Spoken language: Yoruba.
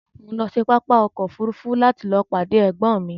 Mo ń lọ sí pápá ọkọ òfúrúúfú láti lọọ pàdé ẹ̀gbọ́n mi